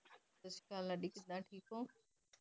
ਸਤ ਸ਼੍ਰੀ ਅਕਾਲ ਲਾਡੀ ਠੀਕ ਹੋ